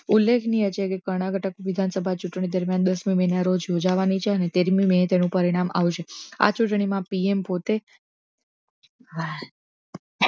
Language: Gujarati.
ઉલ્લેખનીય જેવી કરણાટક વિધાનસભા ચુટણી દરમિયાન દસ મે ના રોજ ઉજાવવાની છે તેર મિ મે એનો પરિણામ આવેશે આ ચુટણી પી એમ પોતે